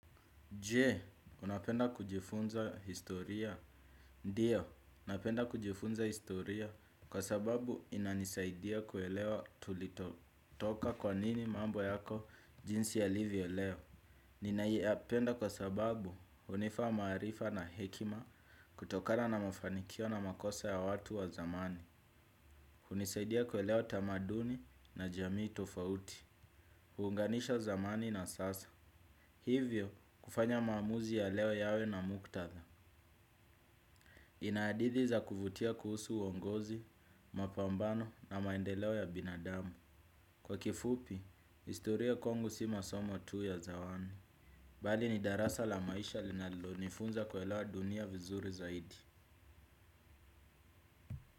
Je, unapenda kujifunza historia? Ndiyo, napenda kujifunza historia kwa sababu inanisaidia kuelewa tulikotoka kwa nini mambo yako jinsi yalivyo leo. Ninaipenda kwa sababu hunifaa maarifa na hekima kutokana na mafanikio na makosa ya watu wa zamani hunisaidia kuelewa tamaduni na jamii tofauti. Huunganisha zamani na sasa. Hivyo kufanya maamuzi ya leo yawe na muktadha. Ina hadithi za kuvutia kuhusu uongozi, mapambano na maendeleo ya binadamu. Kwa kifupi, historia kwangu si masomo tu ya zawani bali ni darasa la maisha linalonifunza kuelewa dunia vizuri zaidi.